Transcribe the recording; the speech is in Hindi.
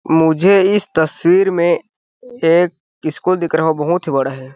मुझे इस तस्वीर में एक इशकुल दिख रहा हो बहुत ही बड़ा है।